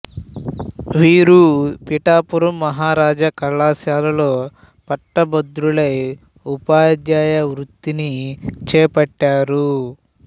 వీరు పిఠాపురం మహారాజా కళాశాలలో పట్టభద్రులై ఉపాధ్యాయ వృత్తిని చేపట్టారు